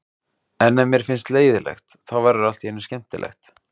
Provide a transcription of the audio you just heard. En ef mér finnst leiðinlegt, þá verður allt í einu skemmtilegt.